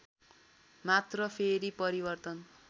मात्र फेरि परिवर्तन